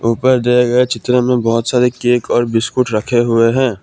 ऊपर दिए गए चित्र में बहोत सारे केक और बिस्कुट रखे हुए हैं।